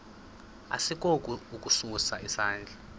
asikukho ukusa isandla